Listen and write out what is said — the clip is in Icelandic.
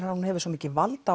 að hún hefur svo mikið vald